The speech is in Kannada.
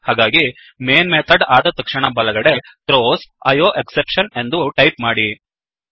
ಹಾಗಾಗಿ ಮೈನ್ ಮೇನ್ ಮೆಥಡ್ ಆದ ತಕ್ಷಣ ಬಲಗಡೆಗೆ ಥ್ರೋಸ್ IOExceptionಥ್ರೋಸ್ ಐಓಎಕ್ಸೆಪ್ಷನ್ ಎಂದು ಟೈಪ್ ಮಾಡಿ